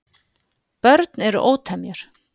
Börn eru ótemjur.